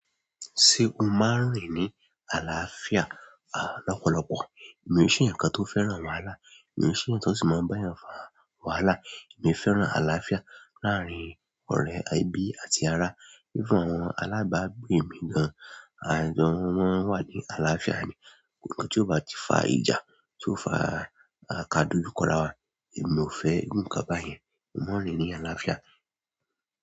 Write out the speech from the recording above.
Ṣé o máa ń rìn ní àlàáfíà lọ́pọ̀lọpọ̀? Èmi sì ń ṣe ǹkan tó fẹ́ràn wàhálà, èmi sì ń ṣe ǹkan tó sì máa ń bá ènìyàn fa wàhálà. Èmi fẹ́ràn àlàáfíà láàárín ọ̀rẹ́, ẹbí àti ará. Even àwọn alabagbo mi gan, a jọ máa nwa ní àlàáfíà ní ǹkan tí ó bá ti fa ìjà, tí ó fa kadojú kọ ráwa, èmi ò fẹ́ irú ǹkan bayẹn. Mo ń rìn ní àlàáfíà.